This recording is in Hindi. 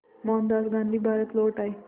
मोहनदास गांधी भारत लौट आए